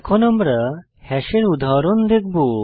এখন আমরা হ্যাশের উদাহরণ দেখব